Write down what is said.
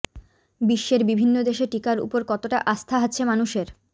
বিশ্বের বিভিন্ন দেশে টিকার ওপর কতটা আস্থা আছে মানুষের